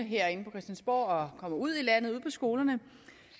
og kommer ud i landet ud på skolerne